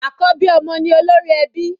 Àkọ́bí ọmọ ni olórí ẹbí.